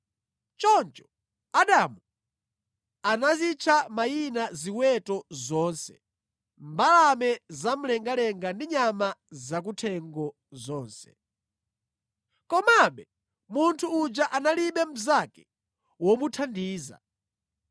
Choncho Adamu anazitcha mayina ziweto zonse, mbalame zamlengalenga ndi nyama zakuthengo zonse. Komabe munthu uja analibe mnzake womuthandiza.